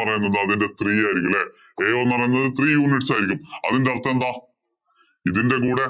പറയുന്നത് അതിന്‍റെ three ആയിരിക്കും അല്ലേ ao എന്ന് പറയുന്നത് three units ആയിരിക്കും. അതിന്‍റെ അര്‍ത്ഥം എന്താ? ഇതിന്‍റെ കൂടെ